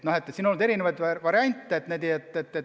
On pakutud erinevaid variante.